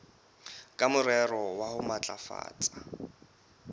ka morero wa ho matlafatsa